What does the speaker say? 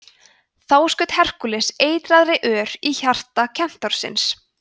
þá skaut herkúles eitraðri ör í hjarta kentársins